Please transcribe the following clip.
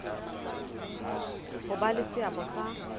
ho ba le seabo sa